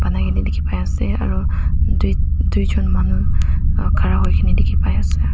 dekhi pai asa aru duijon manu khara hoina dekhi pai asa.